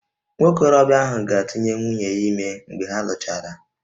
Nwa okorobịa ahụ ga-atụnye nwunye ya ime mgbe ha lụchara